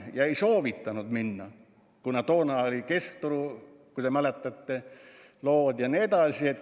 Ta ei soovitanud nendega minna, kuna toona oli Keskturu skandaal, kui te mäletate, ja nii edasi.